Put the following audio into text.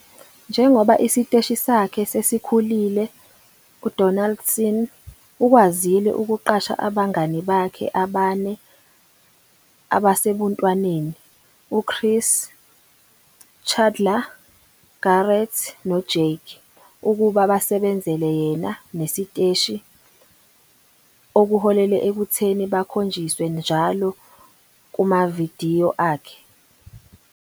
Njengoba isiteshi sakhe sesikhulile uDonaldson ukwazile ukuqasha abangani bakhe abane abasebuntwaneni - uChris, Chandler, Garrett noJake - ukuba basebenzele yena nesiteshi, okuholele ekutheni bakhonjiswe njalo kumavidiyo akhe.